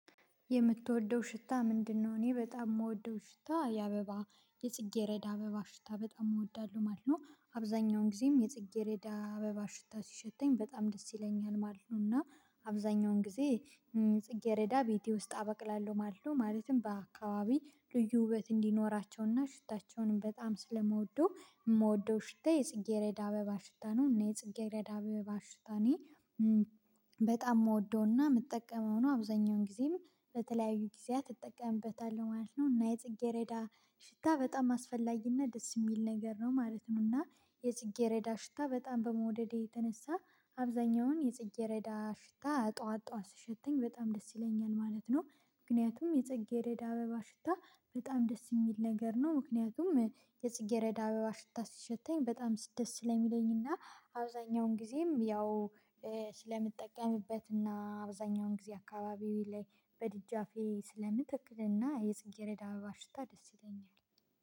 የምትወደው ሽታ ምንድነው? እኔ በጣም የምወደው ሽታ የአበባ የጽጌረዳ አበባ ሽታ በጣም እወዳለሁ ማለት ነው። አብዛኛውን ጊዜም የጽጌሬዳ አበባ ሽታ ሲሸተኝ በጣም ደስ ይለኛል ማለት ነው። እና አብዛኛውን ጊዜ ጽጌረዳ ቤቴ ውስጥ አበቅላለሁ። ማለትም በአካባቢ ልዩ ውበት እንዲኖራቸውና ሽታቸውንም በጣም ስለምወደው የምወደው ሽታ የጽጌረዳ አበባ ሽታ ነው። እና የጽጌረዳ ባሽታኔ በጣም የምወደውና የምጠቀመው ነው። አብዛኛውን ጊዜም በተለያዩ ጊዜያት እጠቀምበታለሁ ማለት ነው። እና የጽጌረዳ ሽታ በጣም አስፈላጊና ደስ የሚል ነገር ነው ማለት ነው። እና የጽጌረዳ ሽታ በጣም በመውደዴ የተነሳ አብዛኛውን የጽጌረዳ ሽታ ጠዋት ጠዋት ሲሸተኝ በጣም ደስ ይለኛል ማለት ነው። ምክንያቱም የጸጌረዳ አበባ ሽታ በጣም ደስ የሚል ነገር ነው። ምክንያቱም የጽጌረዳ አበባ ሽታ ስሸተኝ በጣም ደስ ስለሚለኝ እና አብዛኛውን ጊዜም ያው ስለምትጠቀምበት እና አብዛኛውን ጊዜ አካባቢዬ ላይ በድጃፌ ስለምተክልና የጽጌረዳ አበባ ሽታ ደስ ይለኛል